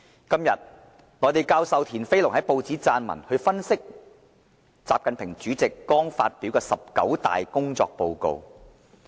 今天，內地教授田飛龍在報章撰文，分析習近平主席剛發表的"十九大"工作報告。